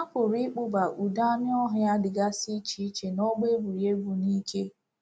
A pụrụ ịkpụba udi anụ ọhịa dịgasị iche iche n’ọgbọ egwuregwu n'íké.